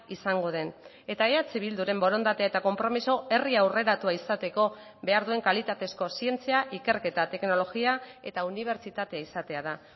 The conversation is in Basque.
izango den eta eh bilduren borondatea eta konpromiso herri aurreratua izateko behar duen kalitatezko zientzia ikerketa teknologia eta unibertsitate izatea da